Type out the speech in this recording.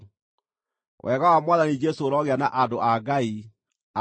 Wega wa Mwathani Jesũ ũrogĩa na andũ a Ngai. Ameni.